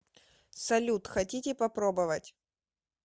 салют хотите попробовать